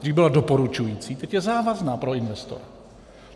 Dřív byla doporučující, teď je závazná pro investora.